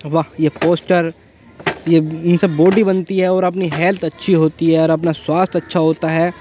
वाह ये पोस्टर ये इनसे बॉडी बनती है और अपनी हेल्थ अच्छी होती है और अपना स्वास्थ्य अच्छा होता है।